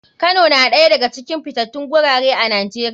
Kano na ɗaya daga cikin fitatun gurare a nijeria.